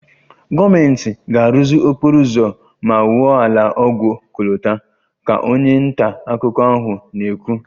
"Gọọmentị ga-arụzi okporo ụzọ ma wuo ụlọ ọgwụ ọkọlọtọ"" ka onye nta akụkọ ahụ na-ekwu"